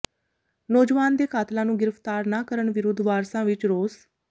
ਨੌਜਵਾਨ ਦੇ ਕਾਤਲਾਂ ਨੂੰ ਗ੍ਰਿਫ਼ਤਾਰ ਨਾ ਕਰਨ ਵਿਰੁੱਧ ਵਾਰਸਾਂ ਵਿੱਚ ਰੋਸ